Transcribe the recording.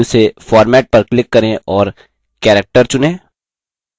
main menu से format पर click करें और character चुनें